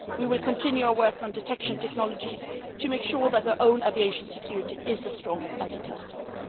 We will continue our work on detection technologies to make sure that our own aviation security is as strong as it has to